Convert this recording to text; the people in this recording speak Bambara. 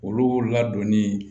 Olu ladonni